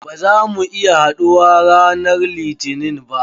Ba za mu iya haɗuwa ranan litinin ba.